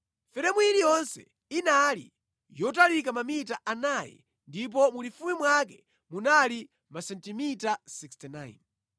Feremu iliyonse inali yotalika mamita anayi ndipo mulifupi mwake munali masentimita 69.